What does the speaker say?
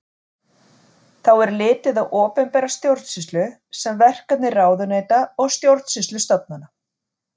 Þá er litið á opinbera stjórnsýslu sem verkefni ráðuneyta og stjórnsýslustofnana.